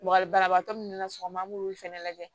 Wa banabagatɔ minnu na sɔgɔma an b'olu fɛnɛ lajɛ